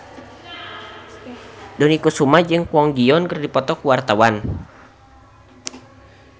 Dony Kesuma jeung Kwon Ji Yong keur dipoto ku wartawan